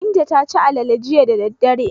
Binta ta ci alale jiya da dare.